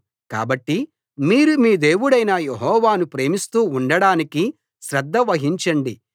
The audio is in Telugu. కాబట్టి మీరు మీ దేవుడైన యెహోవాను ప్రేమిస్తూ ఉండడానికి శ్రద్ధ వహించండి